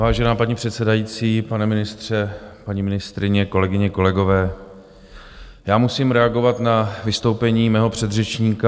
Vážená paní předsedající, pane ministře, paní ministryně, kolegyně, kolegové, já musím reagovat na vystoupení mého předřečníka.